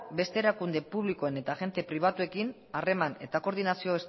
beste erakunde publikoen eta agente pribatuekin harreman eta koordinazio